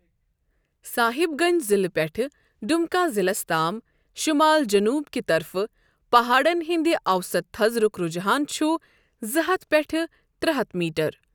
صاحِب گنٛج ضِلعہٕ پٮ۪ٹھ ڈمکا ضِلعَس تام شَمال جَنوب کہِ طرفہٕ پہاڑن ہندِ اوسَط تھزرُك رَجحان چُھ زٕ ہتھ پٮ۪ٹھہٕ ترےٚ ہتھ میٖٹر ۔